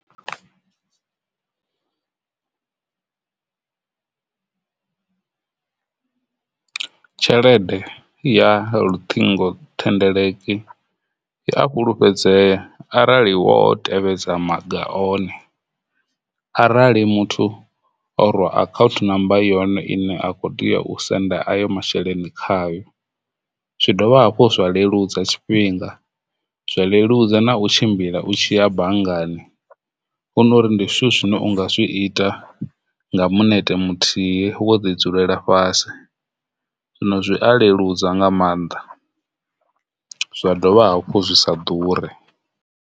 Tshelede ya luṱingothendeleki ya a fhulufhedzea arali wo tevhedza maga one arali muthu o akhaunthu namba yone ine a kho tea u senda ayo masheleni khayo, zwi dovha hafhu zwa leludza tshifhinga zwa leludza na u tshimbila u tshiya banngani hunori ndi zwithu zwine unga zwi ita nga minete muthihi wo ḓi dzulela fhasi. Zwino zwi a leludza nga maanḓa zwa dovha hafhu zwi sa ḓuri.